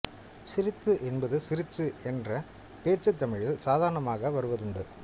சிரித்து என்பது சிரிச்சு என்று பேச்சுத் தமிழில் சாதாரணமாக வருவதுண்டு